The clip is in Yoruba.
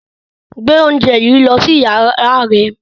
Gbe oúnjẹ yìí lọ sí yàrá rẹ̀